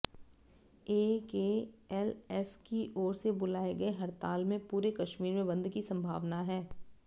JKLF की ओर से बुलाये गए हड़ताल में पूरे कश्मीर में बंद की संभावना है